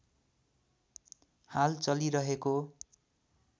हाल चलिरहेको